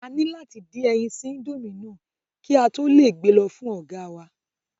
A ní láti dín ẹyin sí indomie náà kí a kí á tó gbe lọ fún ọ̀gáa wa